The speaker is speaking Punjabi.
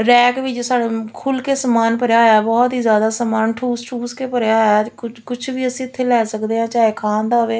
ਰੈਕ ਵਿੱਚ ਸਾਨੂੰ ਖੁੱਲ ਕੇ ਸਮਾਨ ਭਰਿਆ ਹੋਇਆ ਬਹੁਤ ਹੀ ਜਿਆਦਾ ਸਮਾਨ ਠੂਸ ਠੂਸ ਕੇ ਭਰਿਆ ਹੋਇਆ ਕੁਝ ਵੀ ਅਸੀਂ ਇਥੇ ਲੈ ਸਕਦੇ ਹਾਂ ਚਾਹੇ ਖਾਣ ਦਾ ਹੋਵੇ --